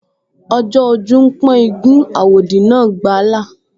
Ọjọ́ ojú ń pọ́n igún, àwòdì náà gbà á là